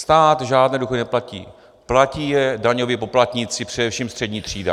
Stát žádné důchody neplatí, platí je daňoví poplatníci, především střední třída.